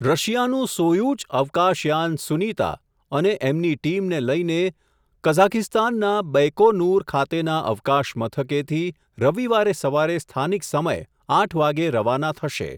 રશિયાનું Soyuz અવકાશયાન સુનીતા, અને એમની ટીમને લઈને, કઝાકિસ્તાનના બૈકોનુર ખાતેના અવકાશ મથકેથી, રવિવારે સવારે સ્થાનિક સમય આઠ વાગે રવાના થશે.